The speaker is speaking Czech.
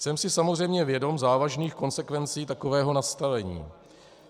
Jsem si samozřejmě vědom závažných konsekvencí takového nastavení.